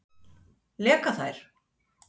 Leka þær?